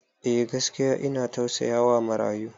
Eh, gaskiya ina tausayawa marayu.